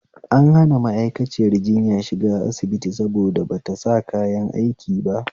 An hana ma'akaciyar jinya shiga asibiti saboda bata sa kayan aiki ba